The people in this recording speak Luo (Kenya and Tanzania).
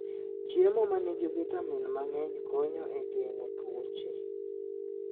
Chiemo ma nigi vitamin mang'eny konyo e geng'o tuoche.